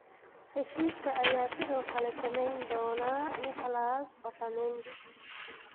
Heshiiska ayaa sidoo kale saameyn doona Nicolas Otamendi.